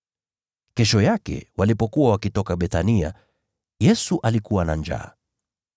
Kesho yake walipokuwa wakitoka Bethania, Yesu alikuwa na njaa.